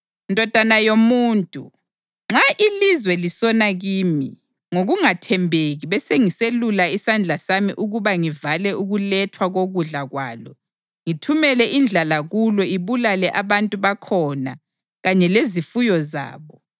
“Ndodana yomuntu, nxa ilizwe lisona kimi ngokungathembeki besengiselula isandla sami ukuba ngivale ukulethwa kokudla kwalo, ngithumele indlala kulo ibulale abantu bakhona kanye lezifuyo zabo,